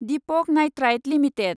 Deepak nitrite limited